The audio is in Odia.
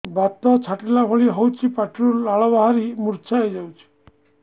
ବାତ ଛାଟିଲା ଭଳି ହଉଚି ପାଟିରୁ ଲାଳ ବାହାରି ମୁର୍ଚ୍ଛା ହେଇଯାଉଛି